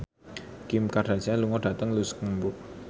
Kim Kardashian lunga dhateng luxemburg